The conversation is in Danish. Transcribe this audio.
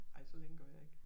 Ej så længe gør jeg ikke